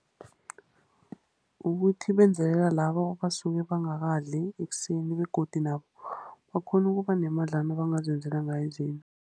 Ukuthi benzelela labo abasuke bangakadli ekuseni, begodu nabo bakghone ukuba nemadlana ebangazenzela ngayo izinto.